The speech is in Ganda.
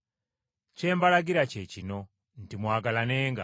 Kye mbalagira kye kino nti mwagalanenga.